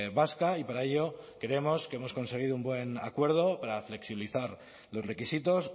vasca y para ello creemos que hemos conseguido un buen acuerdo para flexibilizar los requisitos